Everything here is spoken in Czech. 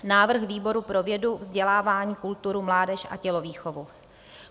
Návrh výboru pro vědu, vzdělávání, kulturu, mládež a tělovýchovu: